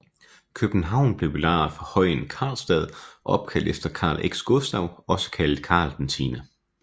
København blev belejret fra højen Carlstad opkaldt efter Carl X Gustav også kaldet Karl 10